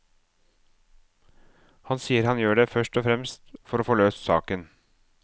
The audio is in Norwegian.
Han sier han gjør det først og fremst for å få løst saken.